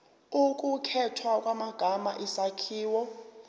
ukukhethwa kwamagama isakhiwo